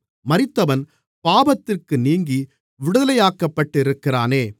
மரித்தவன் பாவத்திற்கு நீங்கி விடுதலையாக்கப்பட்டிருக்கிறானே